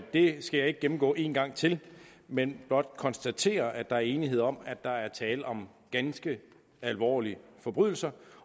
det skal jeg ikke gennemgå en gang til men blot konstatere at der er enighed om at der er tale om ganske alvorlige forbrydelser